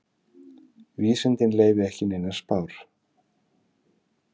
Vísindin leyfi ekki neinar spár.